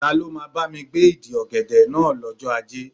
Ta ló máa bámi gbé ìdí ọ̀gẹ̀dẹ̀ náà lọ́jọ́ Ajé?